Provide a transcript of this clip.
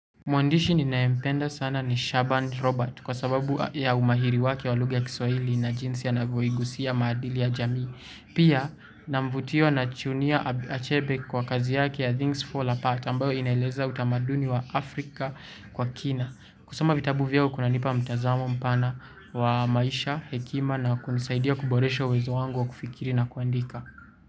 Mwandishi ninayempenda sana ni Shaban Robert kwa sababu ya umahiri wake wa lugha ya kiswahili na jinsi anavya igusia maadili ya jamii. Pia na mvutio na chunia achebe kwa kazi yake ya Things Fall Apart ambayo inaeleza utamaduni wa Afrika kwa kina. Kusoma vitabu vyao kuna nipa mtazamo mpana wa maisha, hekima na kunisaidia kuboresho uwezo wangu wa kufikiri na kuandika.